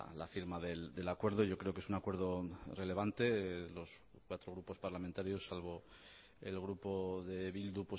la firma del acuerdo yo creo que es un acuerdo relevante los cuatro grupos parlamentarios salvo el grupo de bildu